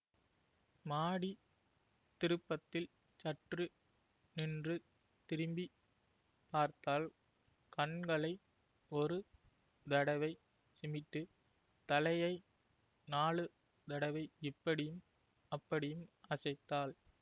மாடித் திருப்பத்தில் சற்று நின்று திரும்பி பார்த்தாள் கண்களை ஒரு தடவை சிமிட்டு தலையை நாலு தடவை இப்படியும் அப்படியும் அசைத்தாள்